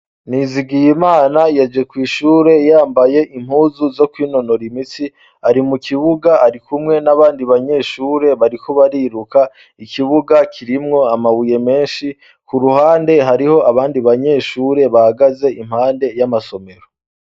Nizigiye imana yeje kw'ishure yambaye impuzu zo kwinonora imitsi ari mu kibuga ari kumwe n'abandi banyeshure barikubariruka ikibuga kirimwo amabuye menshi ku ruhande hariho abandi banyeshure bagaze impande y'amasomero.